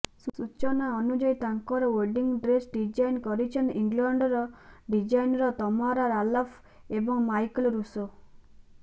ସୂଚନା ଅନୁଯାୟୀ ତାଙ୍କର ୱେଡିଂ ଡ୍ରେସ୍ ଡିଜାଇନ୍ କରିଛନ୍ତି ଇଂଲଣ୍ଡର ଡିଜାଇନର ତମାରା ରାଲଫ ଏବଂ ମାଇକେଲ୍ ରୁସୋ